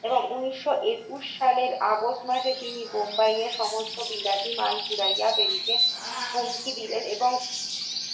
এবং উনিশ শ একুশ সালের আগস্ট মাসে তিনি মুম্বাইয়ের সমস্ত বিলাতি মাল পুড়াইয়া ফেলিতে হুমকি দিলেন এবং